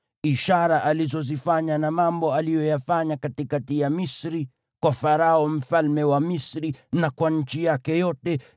ishara alizozifanya na mambo aliyoyafanya katikati ya Misri, kwa Farao mfalme wa Misri na kwa nchi yake yote;